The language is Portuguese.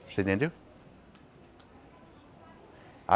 Você entendeu?